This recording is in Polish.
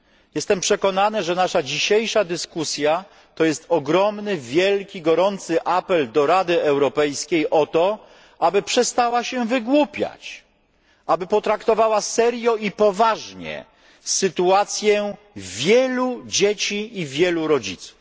Jestem przekonany, że nasza dzisiejsza dyskusja to ogromny i gorący apel do Rady Europejskiej o to, aby przestała się wygłupiać, aby potraktowała serio i poważnie sytuację wielu dzieci i wielu rodziców.